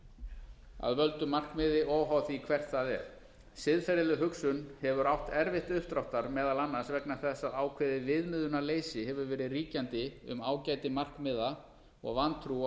leiðirnar að völdu markmiði óháð því hvert það er siðferðileg hugsun hefur átt erfitt uppdráttar meðal annars vegna þess að ákveðið viðmiðunarleysi hefur verið ríkjandi um ágæti markmiða og vantrú á